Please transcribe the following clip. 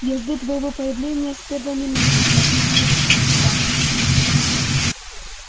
я жду твоего появления с первой минуты как мы с ней вошли сюда